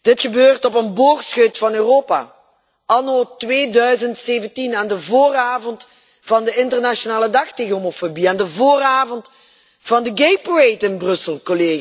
Dat gebeurt op een boogscheut van Europa, anno 2017, aan de vooravond van de internationale dag tegen homofobie en aan de vooravond van de Gay Pride in Brussel.